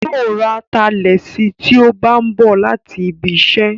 Yóò ra atalẹ̀ sí tí ó bá ń bọ̀ láti ibiṣẹ́